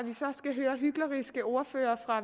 skal høre hykleriske ordførere fra